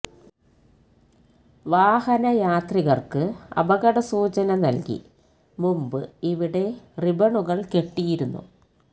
വാഹന യാത്രികര്ക്ക് അപകട സൂചന നല്കി മുമ്പ് ഇവിടെ റിബണുകള് കെട്ടിയിരുന്നു